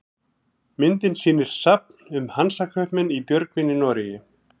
Myndin sýnir safn um Hansakaupmenn í Björgvin í Noregi.